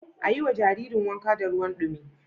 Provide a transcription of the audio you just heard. A yiwa Jaririn wanka da ruwan dumi